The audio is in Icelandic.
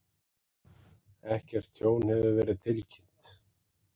Ekkert tjón hefur verið tilkynnt